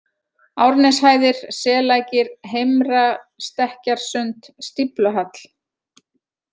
Árneshæðir, Sellækir, Heimra-Stekkjarsund, Stífluhall